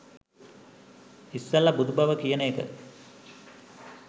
ඉස්සෙල්ල බුදුබව කියන එක